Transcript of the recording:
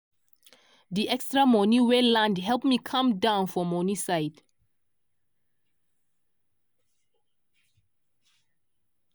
di extra money wey land help me calm down for money side.